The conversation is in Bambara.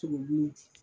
Toro di